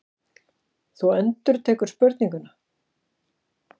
Þú endurtekur spurninguna.